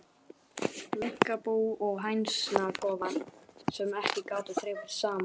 Minkabú og hænsnakofar, sem ekki gátu þrifist saman.